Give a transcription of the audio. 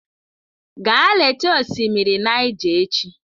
Gaa leta osimiri Niger echi!